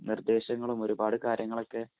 നിര്‍ദ്ദേശങ്ങളും, ഒരു പാട് കാര്യങ്ങളൊക്കെ